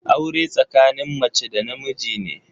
Aure tsakanin mace da na miji ne.